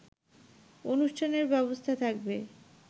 অনুষ্ঠানের ব্যবস্থা থাকবে